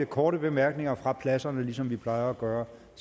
korte bemærkninger fra pladserne ligesom vi plejer at gøre